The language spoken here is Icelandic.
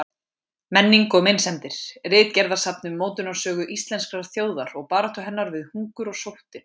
Menning og meinsemdir: Ritgerðasafn um mótunarsögu íslenskrar þjóðar og baráttu hennar við hungur og sóttir.